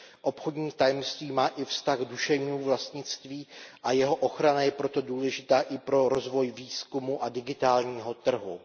Obchodní tajemství má i vztah k duševnímu vlastnictví a jeho ochrana je proto důležitá i pro rozvoj výzkumu a digitálního trhu.